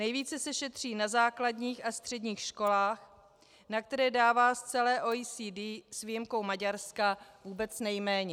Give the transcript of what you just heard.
Nejvíce se šetří na základních a středních školách, na které dává z celé OECD s výjimkou Maďarska vůbec nejméně.